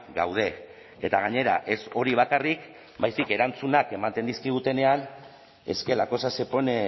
gaude eta gainera ez hori bakarrik baizik erantzunak ematen dizkigutenean es que la cosa se pone